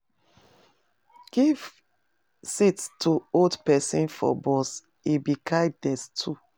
Give seat to old pesin for bus, e be kindness too.